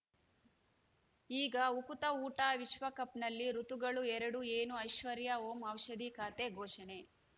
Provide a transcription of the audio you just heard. ಈಗ ಉಕುತ ಊಟ ವಿಶ್ವಕಪ್‌ನಲ್ಲಿ ಋತುಗಳು ಎರಡು ಏನು ಐಶ್ವರ್ಯಾ ಓಂ ಔಷಧಿ ಖಾತೆ ಘೋಷಣೆ